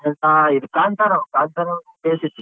ಇನ್ನ ಇದ್ ಕಾಂತಾರೋ ಕಾಂತಾರೋ .